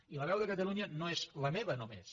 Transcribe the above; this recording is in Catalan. i la veu de catalunya no és la meva només